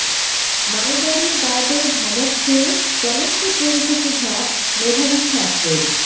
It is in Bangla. মালগাড়ির গার্ডের ধমক খেয়ে চলন্ত ট্রেন থেকে ঝাঁপ মেধাবী ছাত্রের